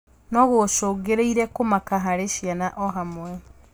Nogũcũngĩrĩrie kũmaka harĩ ciana ohamwe